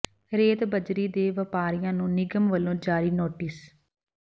ਰੇਤ ਬਜ਼ਰੀ ਦੇ ਵਪਾਰੀਆਂ ਨੂੰ ਨਿਗਮ ਵੱਲੋਂ ਜਾਰੀ ਨੋਟਿਸ